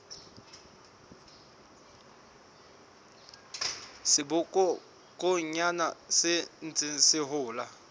sebokonyana se ntseng se hola